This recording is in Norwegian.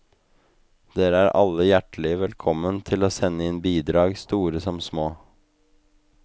Dere er alle hjertelige velkomne til å sende inn bidrag, store som små.